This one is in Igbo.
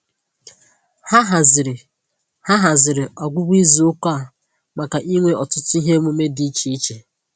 Ha haziri Ha haziri ọgwụgwụ izuụka a maka inwe ọtụtụ ihe emume dị iche iche